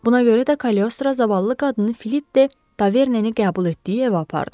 Buna görə də Kaliostro zavallı qadını Filip de Taverneni qəbul etdiyi evə apardı.